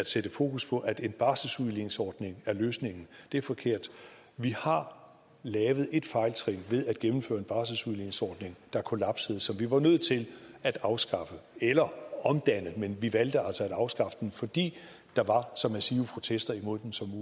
at sætte fokus på at en barselsudligningsordning er løsningen er forkert vi har lavet et fejltrin ved at gennemføre en barselsudligningsordning der kollapsede som vi var nødt til at afskaffe eller omdanne men vi valgte altså at afskaffe den fordi der var så massive protester imod den som